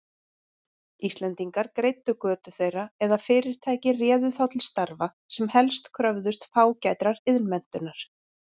Íslendingar greiddu götu þeirra eða fyrirtæki réðu þá til starfa, sem helst kröfðust fágætrar iðnmenntunar.